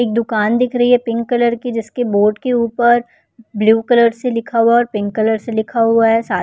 एक दुकान दिख रही है पिंक कलर की जिसकी बोर्ड के ऊपर ब्लू कलर से लिखा हुआ है और पिंक कलर से लिखा हुआ है सा --